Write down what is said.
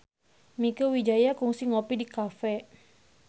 Mieke Wijaya kungsi ngopi di cafe